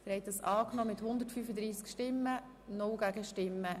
Der Grosse Rat hat den Kreditantrag angenommen.